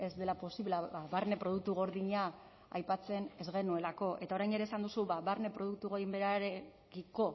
dela posible barne produktu gordina aipatzen ez genuelako eta orain ere esan duzu barne produktu gainbeherarekiko